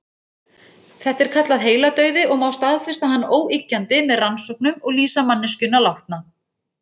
Þetta er kallað heiladauði og má staðfesta hann óyggjandi með rannsóknum og lýsa manneskjuna látna.